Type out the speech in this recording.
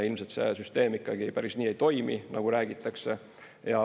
Ilmselt see süsteem ikkagi päris nii ei toimi, nagu räägitakse.